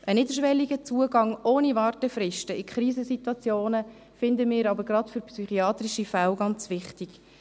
Ein niederschwelliger Zugang ohne Wartefristen in Krisensituationen finden wir aber gerade bei psychiatrischen Fällen ganz wichtig.